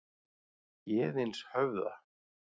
Héðinshöfða